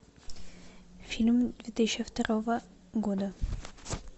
фильм две тысячи второго года